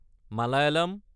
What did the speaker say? Malayalam